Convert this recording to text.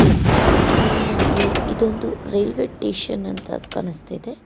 ಈ ಪಿಕ್ಕಲಿ ನನಗೆ ಇದೊಂದು ರೈಲ್ವೆ ಸ್ಟೇಷನ್ ಎಂದು ಕಾಣಿಸ್ತಿದೆ.